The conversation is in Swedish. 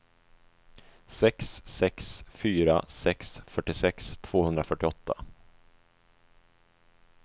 sex sex fyra sex fyrtiosex tvåhundrafyrtioåtta